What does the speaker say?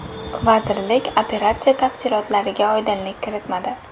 Vazirlik operatsiya tafsilotlariga oydinlik kiritmadi.